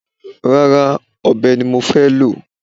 Rárá, ọ̀bẹ ni mo fẹ́ẹ́ lò